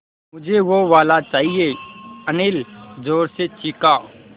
मझे वो वाला चाहिए अनिल ज़ोर से चीख़ा